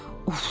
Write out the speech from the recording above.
uf olmadı.